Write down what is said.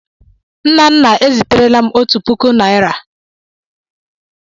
Nnanna e ziterela m otu puku naịra.